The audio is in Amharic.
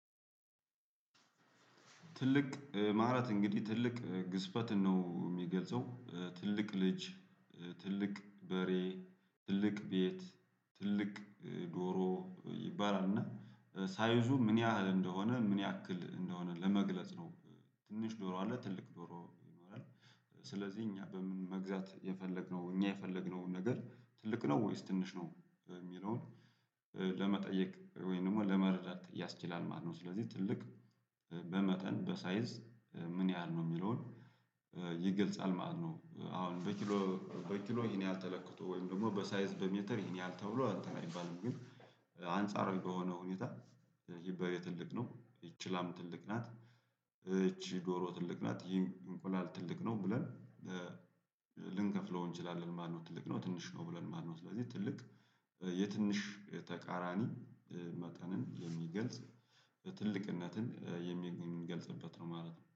ትልቅ ማለት እንግዲህ ትልቅ ግዝፈትን ነው የሚገልጸው ትልቅ ልጅ ትልቅ በሬ ትልቅ ቤት ትልቅ ዶሮ ይባላልና እና ሳይዙ ምን ያህል እንደሆነ ምን ያክል እንደሆነ ለመግለጽ ነው። ትንሽ ዶሮ አለ ትልቅ ዶሮ ይኖራል። ስለዚህ እኛ በምን መግዛት የፈለግነው እኛ የፈለግነውን ነገር ትልቅ ነው ወይስ ትንሽ ነው የሚለውን ለመጠየቅ ወይም ደግሞ ለመረዳት ያስችላል ማለት ነው። ስለዚህ ትልቅ በመጠን በሳይዝ ምን ያህል ነው የሚለውን ይገልጻል ማለት ነው። አሁን በኪሎ በኪሎ ይሄን ያህል ተለክቶ ወይም ደግሞ በሳይዝ በሜትር ይሄን ያህል ተብሎ እንትን አይባልም ግን አንጻራዊ በሆነ ሁኔታ ትልቅ ነው። ይችህ ላም ትልቅ ናት እቺ ዶሮ ትልቅ ናት ይህ እንቁላል ትልቅ ነው ብለን ልንከፍለው እንችላለን ማለት ነው። ትልቅ ነው ትንሽ ነው ብለን ማነው ስለዚህ ትልቅ የትንሽ ተቃራኒ መጠንን የሚገልጽ ትልቅነትን የሚገልጽበት ነው ማለት ነው